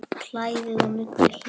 Kælið og nuddið hýðið af.